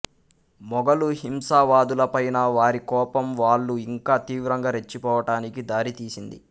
మొఘలు హింసావాదుల పైన వారి కోపం వాళ్ళు ఇంకా తీవ్రంగా రెచ్చిపోవటానికి దారి తీసింది